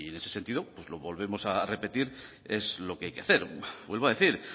en ese sentido lo volvemos a repetir es lo que hay que hacer vuelvo a decir